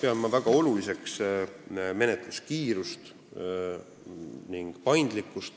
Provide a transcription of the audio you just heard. Ma pean väga oluliseks menetluskiirust ning menetluse paindlikkust.